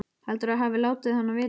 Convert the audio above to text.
Heldurðu að ég hafi látið hana vita?